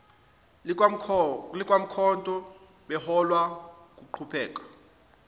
likamkhonto beholwa nguphenduka